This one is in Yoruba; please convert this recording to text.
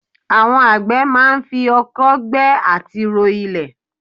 Àwọn àgbẹ̀ máa ń fi oko gbẹ́ àti ro ilẹ̀.